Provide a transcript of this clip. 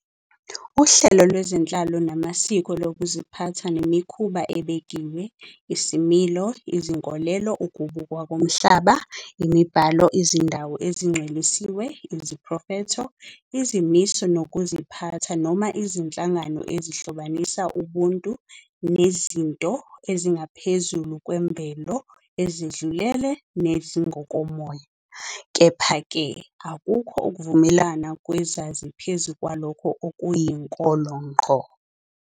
uhlelo lwezenhlalo namasiko lokuziphatha nemikhuba ebekiwe, isimilo, izinkolelo, ukubukwa komhlaba, imibhalo, izindawo ezingcwelisiwe, iziphrofetho, izimiso zokuziphatha, noma izinhlangano, ezihlobanisa ubuntu nezinto ezingaphezulu kwemvelo, ezedlulele, nezingokomoya, kepha-ke, akukho ukuvumelana kwezazi phezu kwalokho okuyinkolo ngqo.